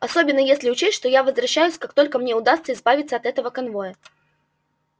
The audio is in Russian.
особенно если учесть что я возвращаюсь как только мне удастся избавиться от этого конвоя